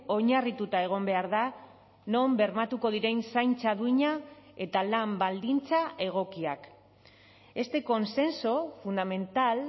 oinarrituta egon behar da non bermatuko diren zaintza duina eta lan baldintza egokiak este consenso fundamental